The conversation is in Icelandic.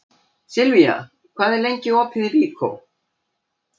Silvía, hvað er opið lengi í Byko?